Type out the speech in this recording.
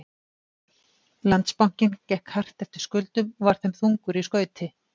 Landsbankinn gekk hart eftir skuldum og var þeim þungur í skauti.